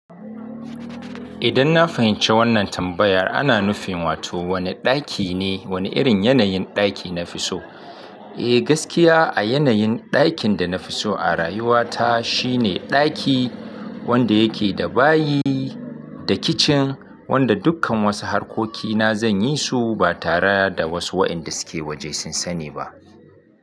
Idan na fahimci wannan tambayar, ana nufin wato wone ɗaki ne, wone irin yanayin ɗaki na fi so. Eh, gaskiya a yanayin ɗakin da na fi so a rayuwata shine ɗaki wanda yake da bayi da kicin, wanda dukkan wasu harkokina zan yi su ba tare da wasu wa'yanda suke woje sun sani ba.